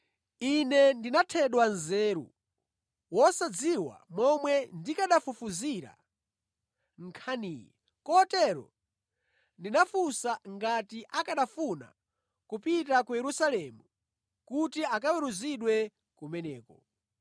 Ine ndinathedwa nzeru wosadziwa momwe ndikanafufuzira nkhaniyi; kotero ndinafunsa ngati akanafuna kupita ku Yerusalemu kuti akaweruzidwe kumeneko.